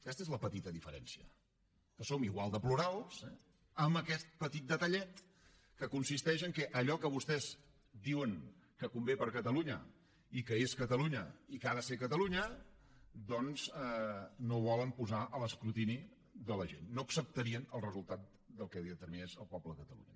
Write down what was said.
aquesta és la petita diferència que som igual de plurals amb aquest petit detallet que consisteix en el fet que allò que vostès diuen que convé per a catalunya i que és catalunya i que ha de ser catalunya doncs no ho volen posar a l’escrutini de la gent no acceptarien el resultat del que determinés el poble de catalunya